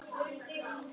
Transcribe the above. Af hverju þetta lag?